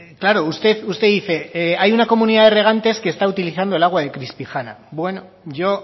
claro usted usted dice hay una comunidad de regantes que está utilizando el agua de crispijana bueno yo